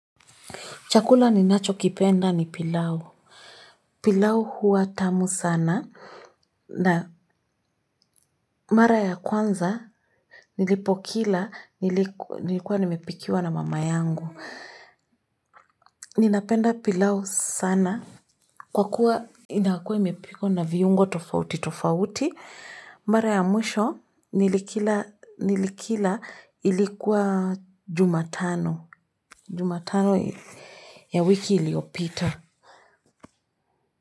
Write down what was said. Chakula ninacho kipenda ni pilau. Pilau huwa tamu sana. Na mara ya kwanza nilipokila nilikuwa nimepikiwa na mama yangu. Ninapenda pilau sana kwa kuwa inakua imepikwa na viungo tofauti tofauti. Mara ya mwisho nilikila ilikuwa jumatano. Jumatano ya wiki iliopita.